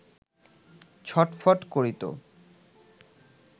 ছটফট করি তো